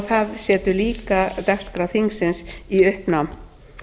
það setur líka dagskrá þingsins í uppnám